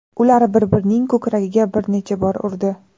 Ular bir-birining ko‘kragiga bir necha bor urdi.